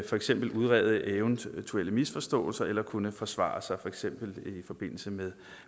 for eksempel at udrede eventuelle misforståelser eller kunne forsvare sig for eksempel i forbindelse med